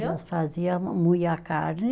Nós fazia, moía a carne.